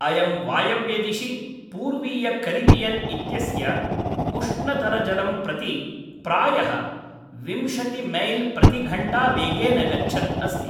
अयं वायव्यदिशि, पूर्वीयकरिबियन् इत्यस्य उष्णतरजलं प्रति, प्रायः विंशति मैल् प्रतिघण्टावेगेन गच्छन् अस्ति।